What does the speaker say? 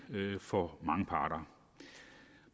for mange parter